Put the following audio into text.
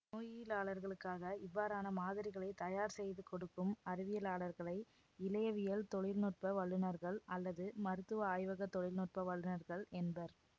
நோயியலாளர்களுக்காக இவ்வாறான மாதிரிகளை தயார் செய்து கொடுக்கும் அறிவியலாளர்களை இழையவியல் தொழில் நுட்ப வல்லுநர்கள் அல்லது மருத்துவ ஆய்வக தொழில் நுட்ப வல்லுநர்கள் என்பர்